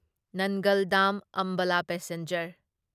ꯅꯟꯒꯜ ꯗꯥꯝ ꯑꯝꯕꯥꯂꯥ ꯄꯦꯁꯦꯟꯖꯔ